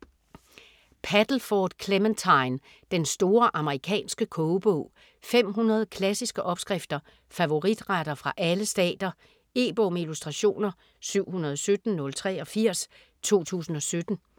Paddleford, Clementine: Den store amerikanske kogebog 500 klassiske opskrifter - favoritretter fra alle stater. E-bog med illustrationer 717087 2017.